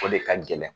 O de ka gɛlɛn